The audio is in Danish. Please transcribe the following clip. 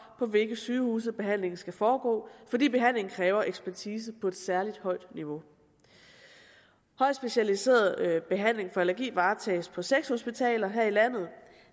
på hvilke sygehuse behandlingen skal foregå fordi behandlingen kræver ekspertise på et særlig højt niveau højt specialiseret behandling for allergi varetages på seks hospitaler her i landet